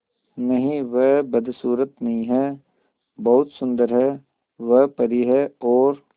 नहीं वह बदसूरत नहीं है बहुत सुंदर है वह परी है और